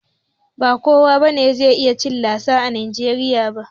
Ba kowa ne zai iya cin lasagna a najeriya ba